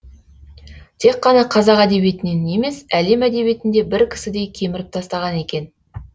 тек қана қазақ әдебиетінен емес әлем әдебиетін де бір кісідей кеміріп тастаған екен